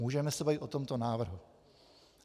Můžeme se bavit o tomto návrhu.